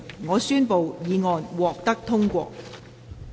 我宣布議案獲得通過。